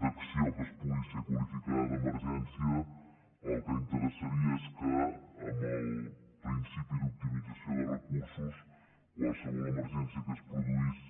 d’acció que pugui ser qualificada d’emergència el que interessaria és que amb el principi d’optimització de recursos qualsevol emergència que es produís